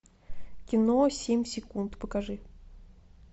кино семь секунд покажи